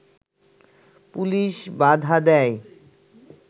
police বাধা দেয়